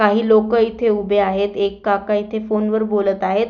काही लोक इथे उभे आहेत एक काका इथे फोनवर बोलत आहेत.